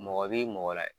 Mɔgɔ b'i mɔgɔ la